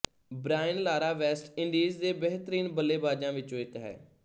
Brian Lara West Indies ਦੇ ਬਿਹਤਰੀਨ ਬੱਲੇਬਾਜ਼ਾਂ ਵਿੱਚੋਂ ਇੱਕ ਹੈ